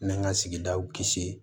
N'an ka sigidaw kisi